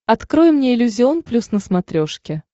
открой мне иллюзион плюс на смотрешке